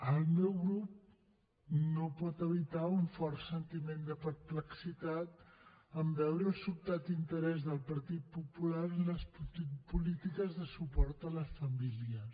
el meu grup no pot evitar un fort sentiment de perplexitat en veure el sobtat interès del partit popular en les polítiques de suport a les famílies